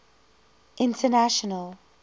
international